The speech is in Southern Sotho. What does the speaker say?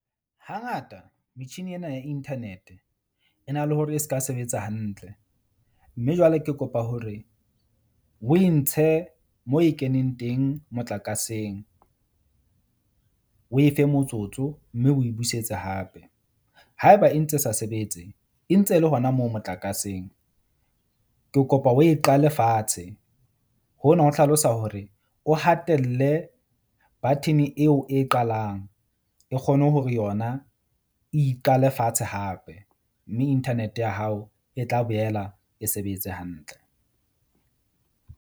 Hangata metjhini ena ya internet e na le hore e ska sebetsa hantle. Mme jwale ke kopa hore o e ntshe moo e keneng teng motlakaseng. O e fe motsotso mme o busetse hape. Haeba e ntse sa sebetse, e ntse le hona moo motlakaseng. Ke kopa o e qale fatshe hona ho hlalosa hore o hatelle button-e eo e qalang e kgone hore yona iqale fatshe hape. Mme internet-e ya hao e tla boela e sebetse hantle.